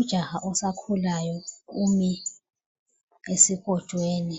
Ujaha osakhulayo umi esikotshweni.